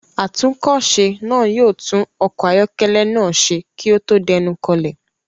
Atúnkọ̀se náà yóò tún ọkọ̀ ayọ́kẹ́lẹ́ náà ṣe kí ó tó dénú kọlẹ̀.